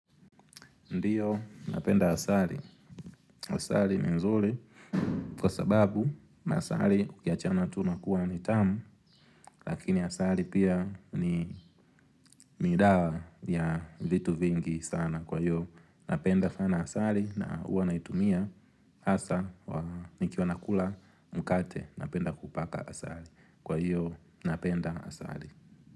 Ndiyo, napenda asali. Asali ni nzuri. Kwa sababu, masali licha tu nakuwa ni tamu, lakini asali pia ni dawa ya vitu vingi sana. Kwa hiyo, napenda sana asali na huwa naitumia. Hasa, nikiwa nakula mkate, napenda kupaka asali. Kwa hiyo, napenda asali.